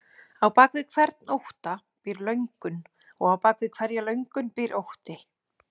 Á bak við hvern ótta býr löngun og á bak við hverja löngun býr ótti.